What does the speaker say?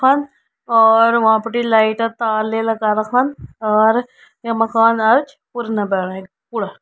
और वहाबटी लाईट तार ले लगा रखन और ये मकान एंच पुर न बैणाई पुरा।